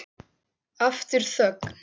Aftur þögn.